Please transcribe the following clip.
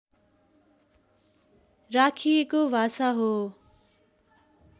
राखिएको भाषा हो